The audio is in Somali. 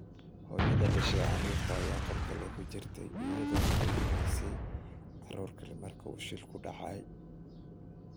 Hooyada dhashay carruurta ayaa qol kale ku jirtay, iyada oo quudinaysay carruur kale markii uu shilku dhacay.